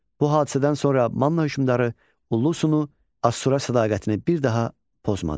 Bu hadisədən sonra Manna hökmdarı Ullusunu Assura sədaqətini bir daha pozmadı.